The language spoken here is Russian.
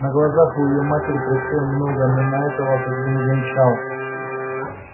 на глазах у её матери происходило многое но она этого как бы не замечала